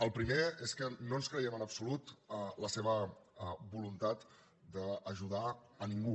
el primer és que no ens creiem en absolut la seva voluntat d’ajudar a ningú